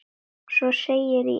Svo segir í Egils sögu